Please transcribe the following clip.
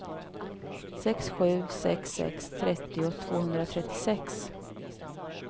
sex sju sex sex trettio tvåhundratrettiosex